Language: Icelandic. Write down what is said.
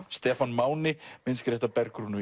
Stefán Máni myndskreytt af